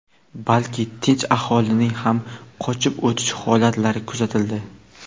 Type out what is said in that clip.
balki tinch aholining ham qochib o‘tish holatlari kuzatildi.